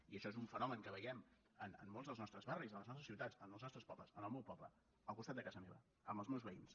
i això és un fenomen que veiem en molts dels nostres barris de les nostres ciutats en els nostres pobles en el meu poble al costat de casa meva amb els meus veïns